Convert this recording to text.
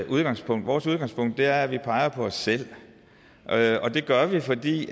udgangspunkt vores udgangspunkt er at vi peger på os selv og det gør vi fordi